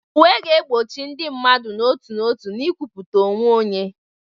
Uwe ga-egbochi ndị mmadụ n'otu n'otu na nkwupụta onwe onye.